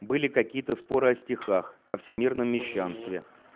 были какие-то споры о стихах о всемирном мещанстве